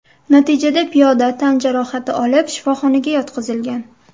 Natijada piyoda tan jarohati olib, shifoxonaga yotqizilgan.